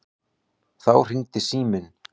Þá hringdi síminn.